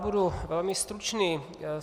Budu velmi stručný.